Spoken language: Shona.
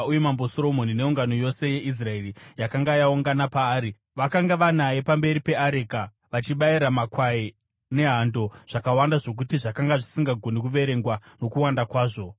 uye Mambo Soromoni neungano yose yeIsraeri yakanga yaungana paari, vakanga vanaye pamberi peareka, vachibayira makwai nehando zvakawanda zvokuti zvakanga zvisingagoni kuverengwa nokuwanda kwazvo.